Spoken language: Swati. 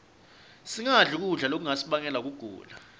singadli kudla lokungasibangela kugula